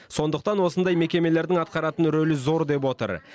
сондықтан осындай мекемелердің атқаратын рөлі зор деп отыр